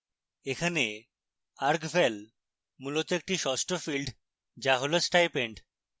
এখানে argval মূলত একটি ষষ্ঠ field যা হল stipend